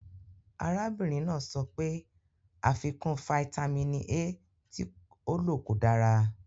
Arábìnrin náà sọ pé àfikún fáítámínì A tí ó lò kò dára.